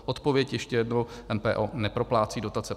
Odpověď ještě jednou: MPO neproplácí dotace.